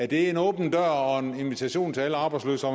det en åben dør og en invitation til alle arbejdsløse